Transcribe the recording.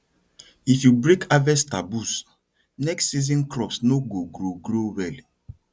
if you break harvest taboos next season crops no go grow grow well